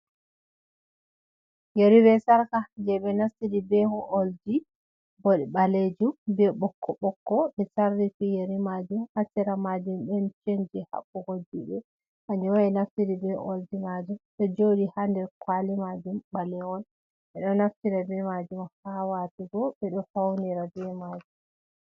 Yeri be sarka je be nastidi be olji bo baleju be bokko bokko be sarri fiyeri majum asira majum ben chenji habbugo jude hanewai naftidi be ol ji majum do jodi ha der kwali majum balewol be do naftida be majum ha watugo be do faunira be majum.